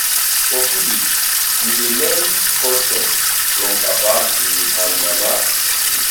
for village we dey learn custom from papa and mama.